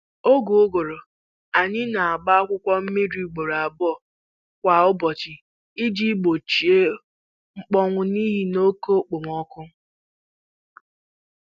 N'oge ụguru, anyị na-agba akwụkwọ nri mmiri ugboro abụọ kwa ụbọchị iji gbochie mkpọnwụ n'ihi na oke okpomọkụ